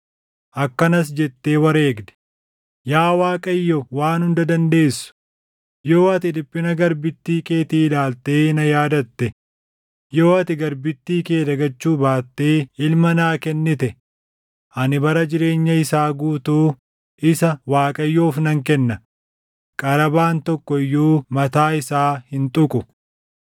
Akkanas jettee wareegde; “Yaa Waaqayyoo Waan Hunda Dandeessu, yoo ati dhiphina garbittii keetii ilaaltee na yaadatte, yoo ati garbittii kee dagachuu baattee ilma naa kennite ani bara jireenya isaa guutuu isa Waaqayyoof nan kenna; qarabaan tokko iyyuu mataa isaa hin tuqu.”